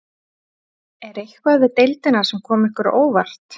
Er eitthvað við deildina sem kom ykkur á óvart?